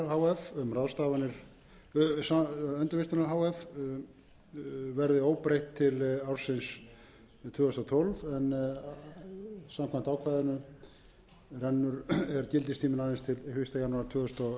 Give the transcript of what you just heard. að starfsemi endurvinnslunnar h f verði óbreytt til ársins tvö þúsund og tólf en samkvæmt ákvæðinu er gildistíminn aðeins til fyrsta janúar tvö þúsund og